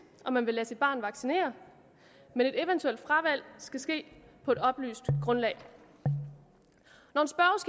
om man vil lade sit barn vaccinere men et eventuelt fravalg skal ske på et oplyst grundlag når